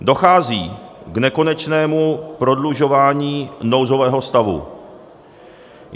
Dochází k nekonečnému prodlužování nouzového stavu.